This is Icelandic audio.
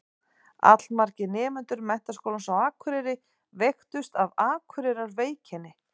Allmargir nemendur Menntaskólans á Akureyri veiktust af Akureyrarveikinni.